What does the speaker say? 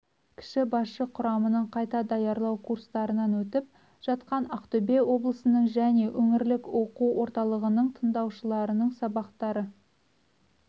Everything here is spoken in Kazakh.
кіші басшы құрамның қайта даярлау курстарынан өтіп жатқан ақтөбе облысының және өңірлік оқу орталығының тыңдаушыларының сабақтары